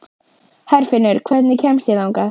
Herfinnur, hvernig kemst ég þangað?